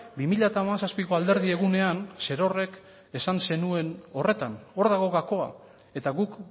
bi mila hamazazpiko alderdi egunean zerorrek esan zenuen horretan hor dago gakoa eta guk